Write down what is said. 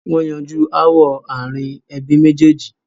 wọ́n yanjú ááwọ̀ ààrin ẹbí méjèèjì.